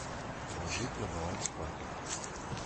положить на баланс папе